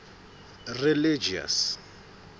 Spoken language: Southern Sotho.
religious